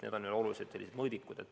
Need on olulised mõõdikud.